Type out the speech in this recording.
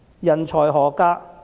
人才何價？